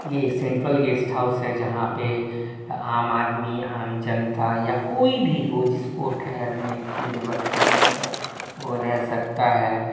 ये central guest house है जहां पे आम आदमी आम जनता या कोई भी हो जिसको ठहरने की व्यवस्था न हो वो रह सकता है।